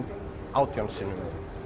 átján sinnum